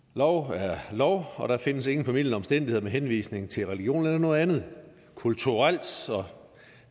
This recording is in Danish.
lov er lov og der findes ingen formildende omstændigheder med henvisning til religion eller noget andet kulturelt